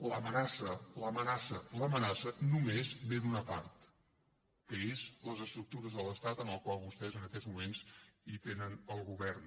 l’amenaça l’amenaça només ve d’una part que són les estructures de l’estat en les quals vostès en aquests moments tenen el govern